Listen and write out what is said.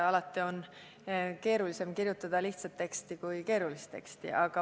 Alati on keerulisem kirjutada lihtsat teksti kui keerulist.